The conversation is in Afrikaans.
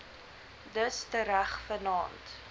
dus tereg vannaand